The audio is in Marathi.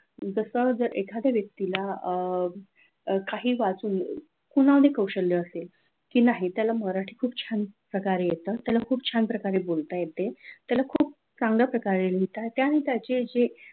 जस जर एखाद्या व्यक्तीला अह काही वाचून पुन्हा ते कौशल्य असेल की नाही त्याला मराठी खूप छान प्रकारे येतं त्याला खूप छान प्रकारे बोलता येते त्यांना खूप चांगल्या प्रकारे लिहिता येते आणि त्याचे जे